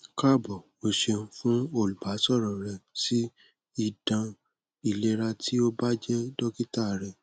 káàbọ̀ o ṣeun fun olbasọrọ rẹ si idan ilera ti o ba jẹ́ dokita rẹ